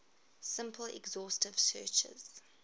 simple exhaustive searches